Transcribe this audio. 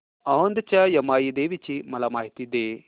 औंधच्या यमाई देवीची मला माहिती दे